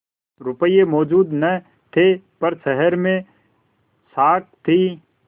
रुपये मौजूद न थे पर शहर में साख थी